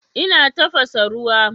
Ina tafasa ruwa.